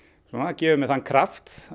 gefur mér þann kraft